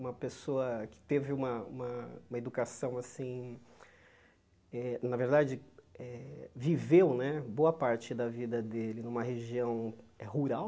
Uma pessoa que teve uma uma educação assim eh, na verdade eh, viveu né boa parte da vida dele numa região rural.